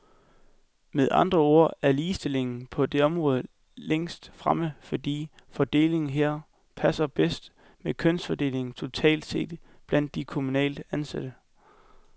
Med andre ord er ligestillingen på det område længst fremme, fordi fordelingen her passer bedst med kønsfordelingen totalt set blandt de kommunalt ansatte.